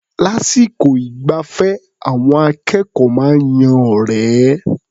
Lásìkò ìgbafẹ́, àwọn akẹ́kọ̀ó máa ń yan ọ̀rẹ́.